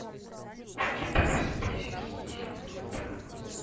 у тебя в списке есть мылодрама